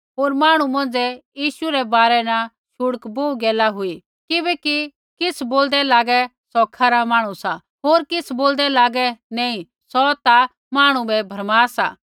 होर मांहणु मौंझ़ै यीशु रै बारै न शुड्क बोहू गैला हुई किछ़ बोलदै लागे सौ खरा मांहणु सा होर किछ़ बोलदै लागे नैंई सौ ता मांहणु बै भरमा सा